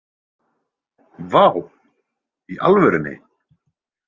Vá, í alvörunni?